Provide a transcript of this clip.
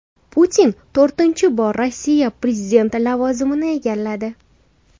Putin to‘rtinchi bor Rossiya prezidenti lavozimini egalladi.